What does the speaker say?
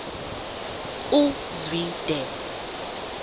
uzwide